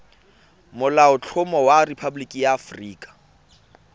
molaotlhomo wa rephaboliki ya aforika